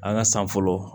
An ka san fɔlɔ